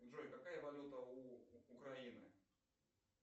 джой какая валюта у украины